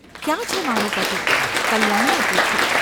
‘ક્યાં છે મારો પતિ? ’ કલ્યાણીએ પૂછ્યું.